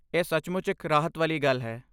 ਇਹ ਸੱਚਮੁੱਚ ਇੱਕ ਰਾਹਤ ਵਾਲੀ ਗੱਲ ਹੈ।